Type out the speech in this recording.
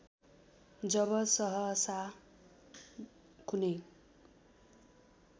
जब सहसा कुनै